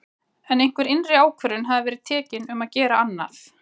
En einhver innri ákvörðun hafði verið tekin um að gera annað.